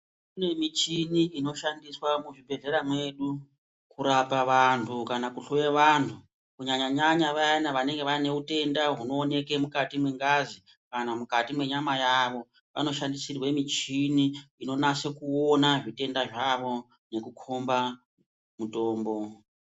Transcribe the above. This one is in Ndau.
Kune michini inoshandiswa muzvibhedhlera mwedu kurapa vantu kana kuhloya vantu kunyanya nyanya Vaya vanenge vane hutenda unoonekwa mukati nengazi kana mukati menyama yawo vanoshandisirwa michini inonyaso one zvitenda zvawo ngekukomba mitombo.